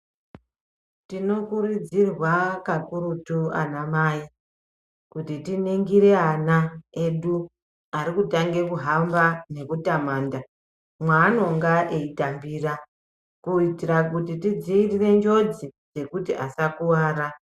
Tinokurudzirwa kakurutu anamai, kuti tiningire ana edu arukutange kuhamba nekutamanda mwaanonga eitambira, kuitira kuti tidziirire ngozi, yekuti asakuwara.